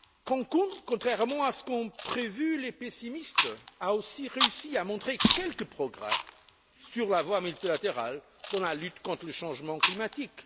Cancún, contrairement à ce qu'ont prévu les pessimistes, a aussi réussi à faire apparaître quelques progrès sur la voie multilatérale dans la lutte contre le changement climatique.